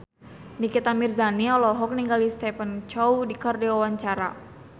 Nikita Mirzani olohok ningali Stephen Chow keur diwawancara